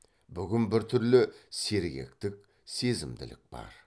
бүгін біртүрлі сергектік сезімділік бар